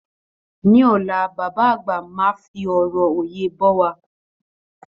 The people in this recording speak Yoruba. Ní ọ̀la, bàbá àgbà máa fi ọrọ òye bọ́ wa.